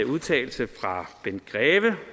udtalelse fra bent greve